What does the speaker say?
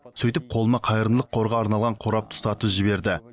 сөйтіп қолыма қайырымдылық қорға арналған қорапты ұстатып жіберді